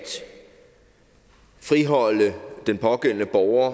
friholde den pågældende borger